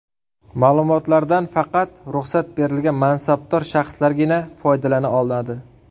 Ma’lumotlardan faqat ruxsat berilgan mansabdor shaxslargina foydalana oladi.